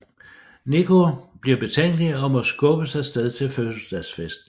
Nico bliver betænkelig og må skubbes af sted til fødselsdagsfesten